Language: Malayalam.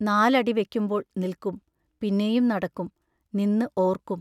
നാലടി വെക്കുമ്പോൾ നിൽക്കും, പിന്നെയും നടക്കും; നിന്ന് ഓർക്കും....